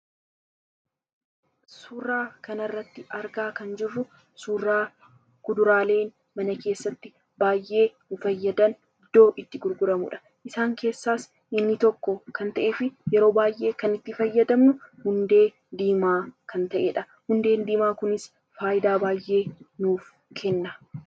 Suuraa kana irratti argaa kan jirruu, suuraa kuduraleen mana keessatti baay'ee nu fayyadan iddoo itti gurguramuudha. Isaan keessa inni tokko kan ta'eefi yeroo baay'ee kan fayyadamnu Hundee Diimaaa kan ta'eedha. Hundeen Diimaan kunis faayidaa baay'ee nuuf kenna.